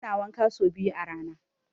Muna wanka so biyu a rana.